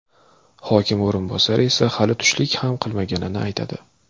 Hokim o‘rinbosari esa hali tushlik ham qilmaganini aytadi.